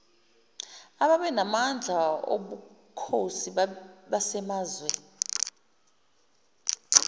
ababenamandla obukhosi basemazwe